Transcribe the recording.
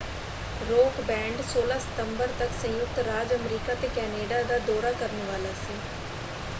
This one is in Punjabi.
ਰੌਕ ਬੈਂਡ 16 ਸਤੰਬਰ ਤੱਕ ਸੰਯੁਕਤ ਰਾਜ ਅਮਰੀਕਾ ਅਤੇ ਕੈਨੇਡਾ ਦਾ ਦੌਰਾ ਕਰਨ ਵਾਲਾ ਸੀ।